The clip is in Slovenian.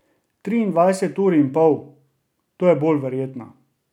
Triindvajset ur in pol, to je bolj verjetno.